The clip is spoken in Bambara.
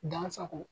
Dan sago